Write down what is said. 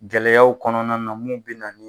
Gɛlɛyaw kɔnɔna mun be na ni